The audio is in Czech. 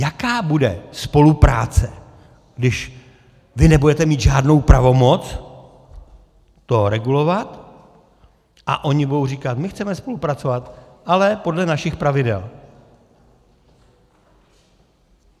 Jaká bude spolupráce, když vy nebudete mít žádnou pravomoc to regulovat a oni budou říkat "my chceme spolupracovat, ale podle našich pravidel"?